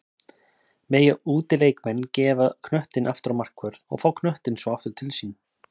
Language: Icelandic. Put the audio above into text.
Mega útileikmenn gefa knöttinn aftur á markvörð og fá knöttinn svo aftur til sín?